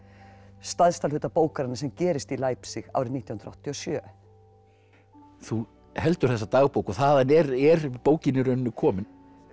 stærsta hluta bókarinnar sem gerist í árið nítján hundruð áttatíu og sjö þú heldur þessa dagbók og þaðan er er bókin í rauninni komin